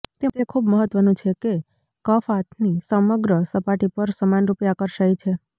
તે ખૂબ મહત્વનું છે કે કફ હાથની સમગ્ર સપાટી પર સમાનરૂપે આકર્ષાય છે